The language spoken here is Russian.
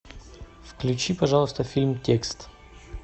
включи пожалуйста фильм текст